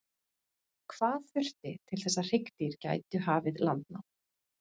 hvað þurfti til þess að hryggdýr gætu hafið landnám